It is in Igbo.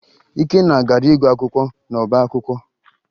Ikenna gara ịgụ akwụkwọ n'ọbaakwụkwọ